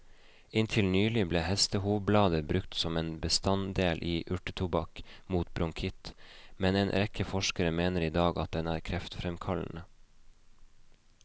Inntil nylig ble hestehovblader brukt som en bestanddel i urtetobakk mot bronkitt, men en rekke forskere mener i dag at den er kreftfremkallende.